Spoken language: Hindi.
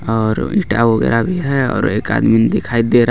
ओर ईटा वगैरा भी है और एक आदमी दिखाएं दे